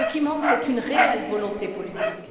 Ce qui manque, c'est une réelle volonté politique.